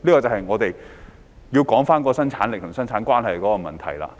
這便是關乎生產力與生產關係的問題。